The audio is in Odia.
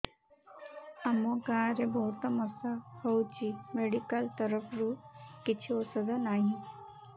ଆମ ଗାଁ ରେ ବହୁତ ମଶା ହଉଚି ମେଡିକାଲ ତରଫରୁ କିଛି ଔଷଧ ନାହିଁ